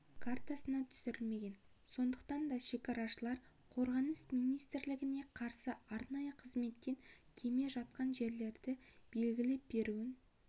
картасына түсірілмеген сондықтан да шекарашылар қорғаныс министрлігіне қарасты арнайы қызметтен кеме жатқан жерлерді белгілеп беруін